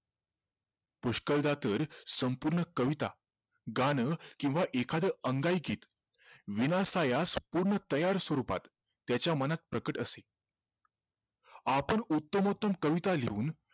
पुष्कळदा तर संपूर्ण कविता गाणं किव्हा एखाद अंगाईगीत विनासायास पूर्ण तयार स्वरूपात त्याच्या मनात प्रकट असे आपण उत्तमोत्तम कविता लिहून